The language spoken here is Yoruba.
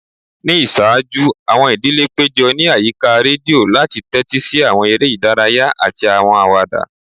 Ni iṣaaju, awọn idile pejọ ni ayika redio lati tẹtisi awọn ere idaraya ati awọn awada.